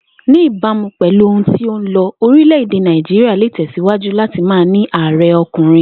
Ní ìbámu pè̩lú ohun tí ó ń lo̩, orílè Nàìjíríà le tè̩sìwájú láti máa ní ààre̩ o̩kùnrin